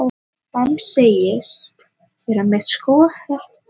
Fram segist vera með skothelt mál